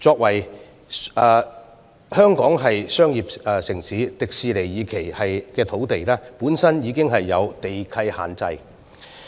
香港是商業城市，而香港迪士尼樂園第二期發展的用地本身已受地契限制。